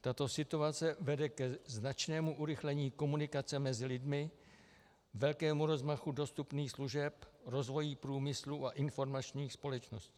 Tato situace vede ke značnému urychlení komunikace mezi lidmi, velkému rozmachu dostupných služeb, rozvoji průmyslu a informačních společností.